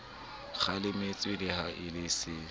kgalemetswe le ha e se